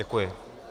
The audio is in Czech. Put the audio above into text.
Děkuji.